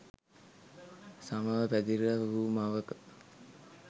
සමව පැතිර වූ මවක